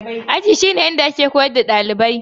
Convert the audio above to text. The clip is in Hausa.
Aji shi ne inda ake koyar da ɗalibai